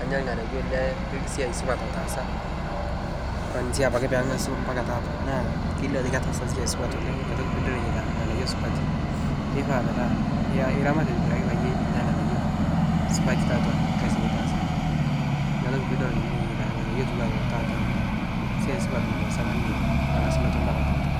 anya lng'anayuo lesiai supat lataasa kwanzia apake pengasu mpaka tata naa kelio ajo ketaasa siai supat Oleg niatoki pidol enyeita lng'anayuo supati keipaa metaa eramat payie inyaa lng'anayuo supati tatua lkasi litaasa niatoki pidol ninye enyeita lng'anayuo atua tata siasi supat lotaasa ninye tengasunoto mpaka tataa